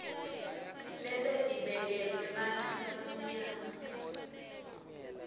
lebetibekelwe bantfu labamnyama